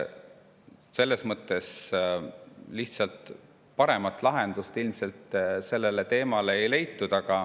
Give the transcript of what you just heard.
Lihtsalt paremat lahendust ilmselt sellele teemale ei leitud.